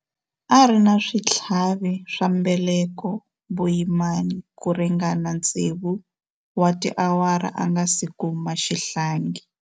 A ri na switlhavi swa mbeleko vuyimani ku ringana tsevu wa tiawara a nga si kuma xihlangi.